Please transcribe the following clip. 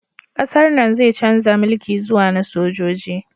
Ƙasar nan zai chanza mulki zuwa na sojoji